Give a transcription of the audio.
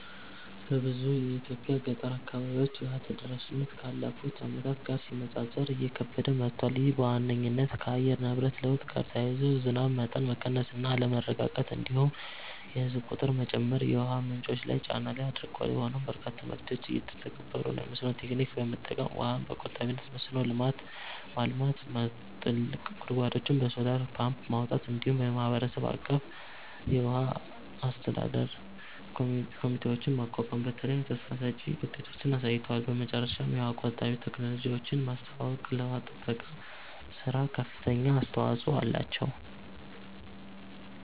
በብዙ የኢትዮጵያ ገጠር አካባቢዎች የውሃ ተደራሽነት ካለፉት ዓመታት ጋር ሲነጻጸር እየከበደ መጥቷል። ይህ በዋነኝነት ከአየር ንብረት ለውጥ ጋር ተያይዞ የዝናብ መጠን መቀነስ እና አለመረጋጋት፣ እንዲሁም የህዝብ ቁጥር መጨመር የውሃ ምንጮች ላይ ጫና ላይ አድርጓል። ሆኖም በርካታ መፍትሄዎች እየተተገበሩ ነው፤ የመስኖ ቴክኒክ በመጠቀም ውሃን በቆጣቢነት መስኖ ማልማት፣ ጥልቅ ጉድጓዶችን በሶላር ፓምፕ ማውጣት፣ እንዲሁም የማህበረሰብ አቀፍ የውሃ አስተዳደር ኮሚቴዎችን ማቋቋም በተለይ ተስፋ ሰጭ ውጤቶችን አሳይተዋል። በመጨረሻም የውሃ ቆጣቢ ቴክኖሎጂዎችን ማስተዋወቅ ለውሃ ጥበቃ ሥራ ከፍተኛ አስተዋጽኦ አላቸው።